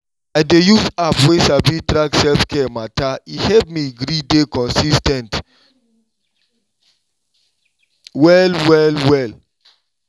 i dey use app wey sabi track self-care matter e help me gree dey consis ten t well well well.